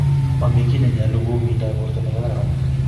Momi kiy nenyalo kou mindap borto nekaararan